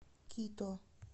кито